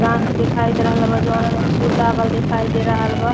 गाछ दिखाई दे रहल बा जौना में फूल लागल दिखाई दे रहल बा।